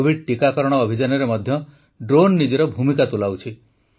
Covid ଟିକାକରଣ ଅଭିଯାନରେ ମଧ୍ୟ ଡ୍ରୋନ୍ ନିଜର ଭୂମିକା ତୁଲାଉଛି